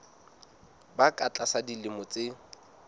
ba ka tlasa dilemo tse